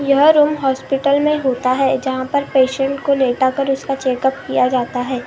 यह room hospital में होता है जहाँ पर पेशेंट को लेटा कर उसका चेक उप किया जाता है।